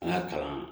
An ka kalan